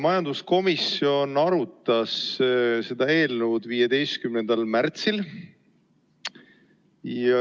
Majanduskomisjon arutas seda eelnõu 15. märtsil.